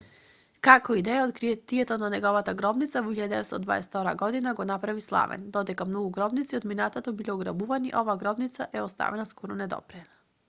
како и да е откритието на неговата гробница во 1922 г го направи славен додека многу гробници од минатото биле ограбувани оваа гробница е оставена скоро недопрена